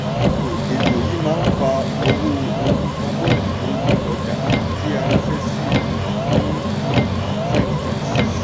ètò ètò yìí máa fa owó́ orí́ kábọ̀nì lóri ọjà tí a ránṣẹ́ sí um ní twenty twenty six.